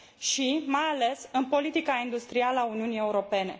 și, mai ales, în politica industrială a Uniunii Europene.